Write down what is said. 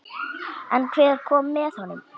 En hver kom með honum?